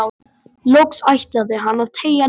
Loks ætlaði hann að teygja net